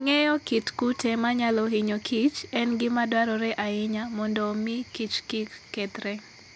Ng'eyo kit kute manyalo hinyo kich, en gima dwarore ahinya mondo omi kichkik kethre.